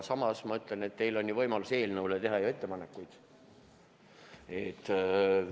Samas ma ütlen, et teil on võimalus teha eelnõu kohta ettepanekuid.